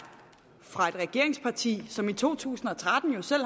fra et regeringsparti som i to tusind og tretten jo selv